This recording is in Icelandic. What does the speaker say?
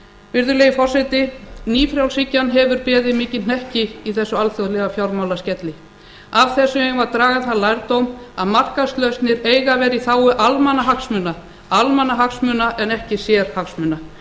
virðulegi forseti nýfrjálshyggjan hefur beðið mikinn hnekki í þessum alþjóðlega fjármálaskelli af þessu eigum við að draga þann lærdóm að markaðslausnir eiga að vera í þágu almannahagsmuna almannahagsmuna en ekki sérhagsmuna